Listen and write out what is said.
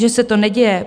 Že se to neděje?